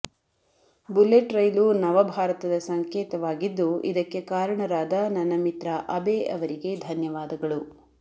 bullet ರೈಲು ನವ ಭಾರತದ ಸಂಕೇತವಾಗಿದ್ದು ಇದಕ್ಕೆ ಕಾರಣರಾದ ನನ್ನ ಮಿತ್ರ ಅಬೆ ಅವರಿಗೆ ಧನ್ಯವಾದಗಳು